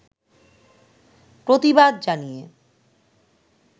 প্রতিবাদ জানিয়ে